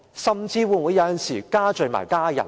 甚至有時候會否罪及家人？